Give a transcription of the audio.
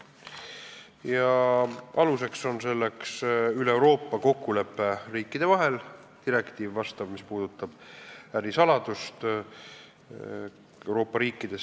Selle aluseks on üleeuroopaline kokkulepe riikide vahel, vastav direktiiv, mis puudutab ärisaladust Euroopa riikides.